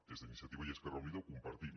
des d’iniciativa i esquerra unida ho compartim